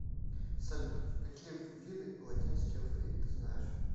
салют какие виды латинский алфавит ты знаешь